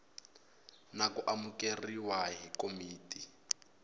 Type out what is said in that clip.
na ku amukeriwa hi komiti